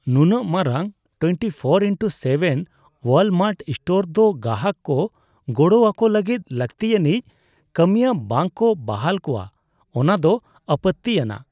ᱱᱩᱱᱟᱹᱜ ᱢᱟᱨᱟᱝ ᱑᱔*᱗ ᱳᱣᱟᱞᱢᱟᱨᱴ ᱥᱴᱳᱨ ᱫᱚ ᱜᱟᱦᱟᱠ ᱠᱚ ᱜᱚᱲᱚ ᱟᱠᱚ ᱞᱟᱹᱜᱤᱫ ᱞᱟᱹᱠᱛᱤᱭᱟᱹᱱᱤᱡᱽ ᱠᱟᱹᱢᱤᱭᱟᱹ ᱵᱟᱝ ᱠᱚ ᱵᱟᱦᱟᱞ ᱠᱚᱣᱟ ᱚᱱᱟ ᱫᱚ ᱟᱯᱚᱛᱛᱤᱼᱟᱱᱟᱜ ᱾